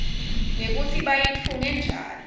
mekutsi bayitfunge njari